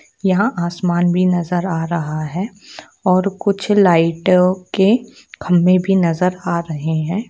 यहाँ आसमान भी नज़र आ रहा है और कुछ लाइटो के खम्बे भी नज़र आ रहे है।